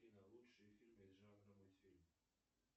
афина лучшие фильмы из жанра мультфильм